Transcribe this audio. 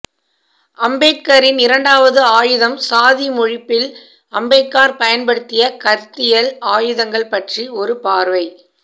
அம்பேத்கரின் இரண்டாவது ஆயுதம் சாதியொழிப்பில் அம்பேத்கர் பயன்படுத்திய கருத்தியல் ஆயுதங்கள்பற்றி ஒரு பார்வை